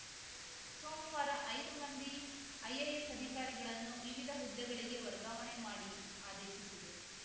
ಸೋಮವಾರ ಐದು ಮಂದಿ ಐಎಎಸ್‌ ಅಧಿಕಾರಿಗಳನ್ನು ವಿವಿಧ ಹುದ್ದೆಗಳಿಗೆ ವರ್ಗಾವಣೆ ಮಾಡಿ ಆದೇಶಿಸಿದೆ